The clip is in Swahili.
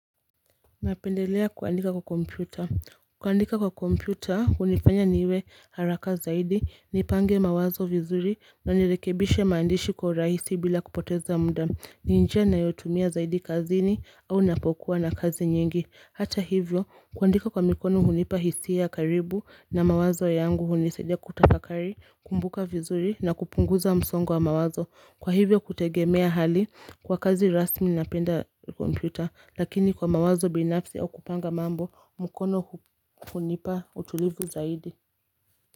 Napendelea kuandika kwa kompyuta. Kuandika kwa kompyuta, hunifanya niwe haraka zaidi, nipange mawazo vizuri, na nirekebishe maandishi kwa rahisi bila kupoteza muda. Ni njia ninayotumia zaidi kazini, au napokuwa na kazi nyingi. Hata hivyo, kuandika kwa mikono hunipa hisia ya karibu, na mawazo yangu hunisaidia kutafakari, kumbuka vizuri, na kupunguza msongo wa mawazo. Kwa hivyo kutegemea hali kwa kazi rasmi na penda kompyuta lakini kwa mawazo binafsi au kupanga mambo mkono kunipa utulivu zaidi.